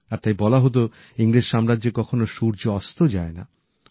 আর তাই বলা হতো ইংরেজ সাম্রাজ্যে কখনো সূর্য অস্ত যায় না